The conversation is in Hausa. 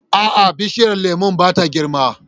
A'a, bishiyar lemun ba ta girma.